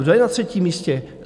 Kdo je na třetím místě?